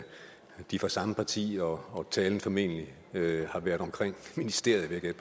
de er fra samme parti og talen formentlig har været omkring ministeriet vil jeg